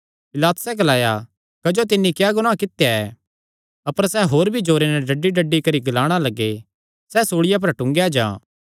पिलातुसैं ग्लाया क्जो तिन्नी क्या गुनाह कित्या ऐ अपर सैह़ होर भी जोरे नैं डड्डीडड्डी करी ग्लाणा लग्गे सैह़ सूल़िया पर टूंगेया जां